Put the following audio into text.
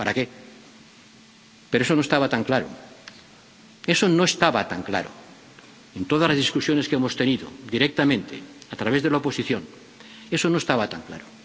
ido. ¿Para qué? Pero eso no estaba tan claro, eso no estaba tan claro, en todas las discusiones que hemos tenido directamente, a través de la oposición, eso no estaba tan